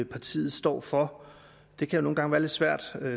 partiet står for det kan nogle gange være lidt svært